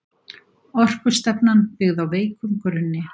Orkustefnan byggð á veikum grunni